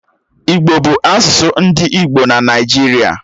Igbo bu asusu ndi igbo na Naijiria.